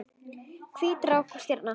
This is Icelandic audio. Hvít rák og stjarna